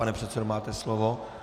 Pane předsedo, máte slovo.